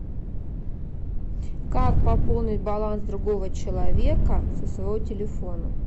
как пополнить баланс другого человека со своего телефона